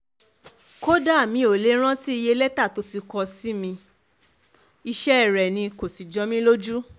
kódà mi ò lè rántí iye lẹ́tà tó ti kọ sí mi iṣẹ́ rẹ̀ ni kò sì jọ mí lójú